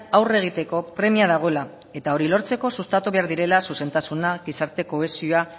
aurre egiteko premia dagoela eta hori lortzeko sustatu behar direla zuzentasuna gizarte kohesioa